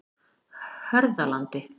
Hörðalandi